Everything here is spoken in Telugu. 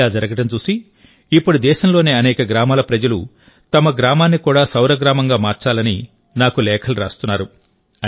ఇలా జరగడం చూసి ఇప్పుడు దేశంలోని అనేక గ్రామాల ప్రజలు తమ గ్రామాన్ని కూడా సౌరగ్రామంగా మార్చాలని నాకు లేఖలు రాస్తున్నారు